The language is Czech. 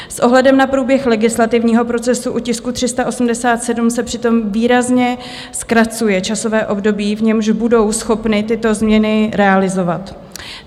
S ohledem na průběh legislativního procesu u tisku 387 se přitom výrazně zkracuje časové období, v němž budou schopny tyto změny realizovat.